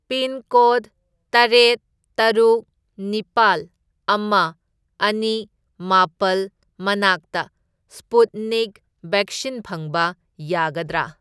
Pincode ꯇꯔꯦꯠ, ꯇꯔꯨꯛ, ꯅꯤꯄꯥꯜ, ꯑꯃ, ꯑꯅꯤ, ꯃꯥꯄꯜ ꯃꯅꯥꯛꯇ ꯁ꯭ꯄꯨꯠꯅꯤꯛ ꯕꯦꯛꯁꯤꯟ ꯐꯪꯕ ꯌꯥꯒꯗ꯭ꯔꯥ?